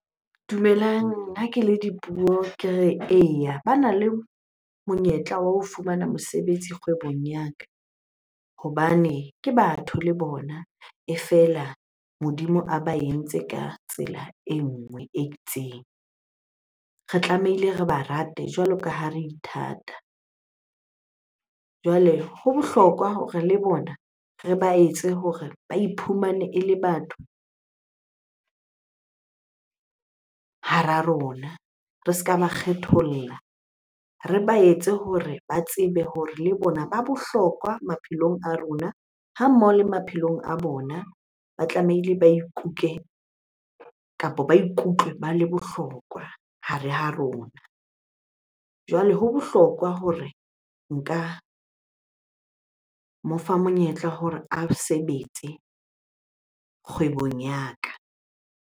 Dumelang, ha ke le Dipuo ke re eya. Bana le monyetla wa ho fumana mosebetsi kgwebong ya ka hobane ke batho le bona, e fela Modimo a ba entse ka tsela e nngwe e itseng. Re tlamehile re ba rate jwalo ka ha re ithata. Jwale ho bohlokwa hore le bona re ba etse hore ba iphumane ele batho hara rona, re se ka ba kgetholla. Re ba etse hore ba tsebe hore le bona ba bohlokwa maphelong a rona ha mmoho le maphelong a bona ba tlamehile ba ikuke kapo ba ikutlwe ba le bohlokwa hare ha rona. Jwale ho bohlokwa hore nka mo fa monyetla hore a sebetse kgwebong ya ka.